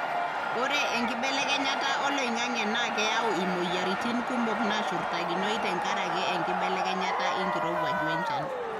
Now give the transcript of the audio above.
ore enkibelekenyata oloingange na keyau imoyiaritin kumok nashurtakinoi tenkaraki enkibelekenyata enkirowuaj we nchan.